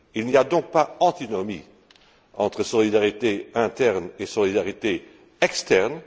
Il n'y a donc pas d'antinomie entre solidarité interne et solidarité externe.